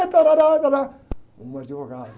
Ah, tarárá, tará, um advogado.